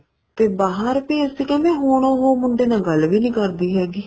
ਤੇ ਬਾਹਰ ਭੇਜ ਕੇ ਕਹਿੰਦੇ ਹੁਣ ਉਹ ਮੁੰਡੇ ਨਾਲ ਗੱਲ ਵੀ ਨਹੀਂ ਕਰਦੀ ਹੈਗੀ